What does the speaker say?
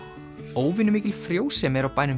óvenjumikil frjósemi er á bænum